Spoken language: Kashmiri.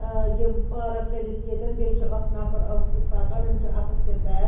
آ یِم پارک کٔرِتھ ییٚتٮ۪ن بیٚیہِ چُھ اکھ نفر اکھ پکان أمِس چُھ اَتھس کٮ۪تھ بیگ